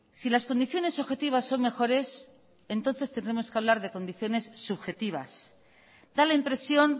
si las condiciones objetivas son mejores entonces tendremos que hablar de condiciones subjetivas da la impresión